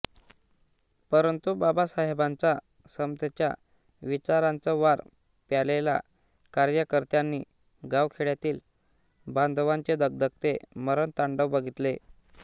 परंतु बाबासाहेबांच्या समतेच्या विचारांच वार प्यालेल्या कार्यकर्त्यानी गावखेड्यातील बांधवांचे धगधगते मरणतांडव बघीतले